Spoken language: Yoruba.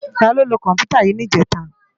Táló ló kòmpútá yi nijètá?